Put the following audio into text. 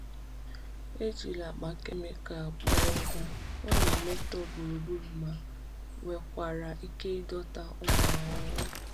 Ejila akpa kemịkal kpoo ọkụ, ọ na-emetọ gburugburu ma nwekwara ike ịdọta ụmụ ahụhụ.